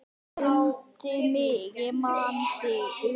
Mundu mig, ég man þig.